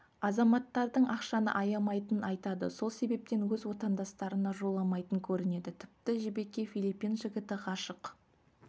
азаматтардың ақшаны аямайтынын айтады сол себептен өз отандастарына жоламайтын көрінеді тіпті жібекке филиппин жігіті ғашық